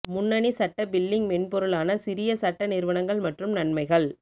முன்னணி சட்ட பில்லிங் மென்பொருளான சிறிய சட்ட நிறுவனங்கள் மற்றும் நன்மைகள்